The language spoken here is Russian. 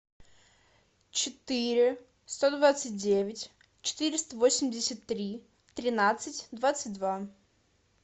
четыре сто двадцать девять четыреста восемьдесят три тринадцать двадцать два